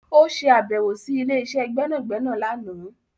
Ó ṣe àbẹ̀wọ̀ sí ilé-iṣẹ́ gbẹ́nàgbẹ́nà láàná